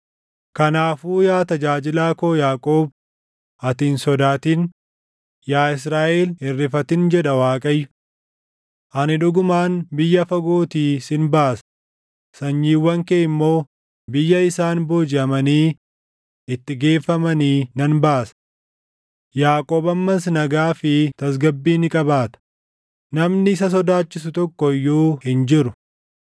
“ ‘Kanaafuu yaa tajaajilaa koo Yaaqoob, ati hin sodaatin; yaa Israaʼel hin rifatin’ jedha Waaqayyo. ‘Ani dhugumaan biyya fagootii sin baasa, sanyiiwwan kee immoo biyya isaan boojiʼamanii itti geeffamanii nan baasa. Yaaqoob ammas nagaa fi tasgabbii ni qabaata; namni isa sodaachisu tokko iyyuu hin jiru.